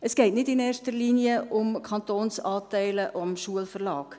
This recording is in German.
Es geht nicht in erster Linie um die Kantonsanteile am Schulverlag.